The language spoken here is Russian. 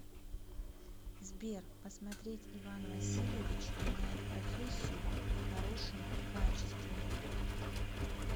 сбер посмотреть иван васильевич меняет профессию в хорошем качестве